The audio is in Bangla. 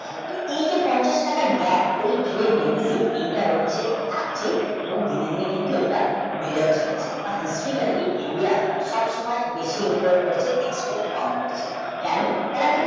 তো এই যে পঞ্চাশটাকা grape এটার হচ্ছে ঠকছে এবং দিনে দিনে কিন্তু এইটা বেড়ে উঠছে বা History কালিই সব সময় বেশি input করতে export কম করছে কোনো তার একটা